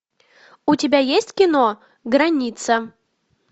у тебя есть кино граница